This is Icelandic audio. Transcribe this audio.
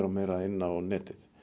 og meira inn á netið